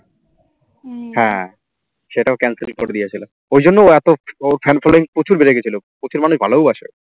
সেটাও cancel করে দিয়েছিল, ওই জন্য ওর ওর অত ওর fan following প্রচুর বেড়ে গেছিল প্রচুর মানুষ ভালোবাসে।